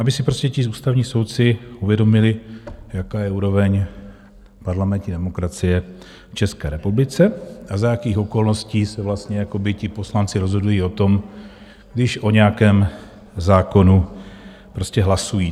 Aby si prostě ti ústavní soudci uvědomili, jaká je úroveň parlamentní demokracie v České republice a za jakých okolností se vlastně jakoby ti poslanci rozhodují o tom, když o nějakém zákonu prostě hlasují.